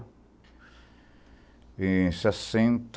Em sessenta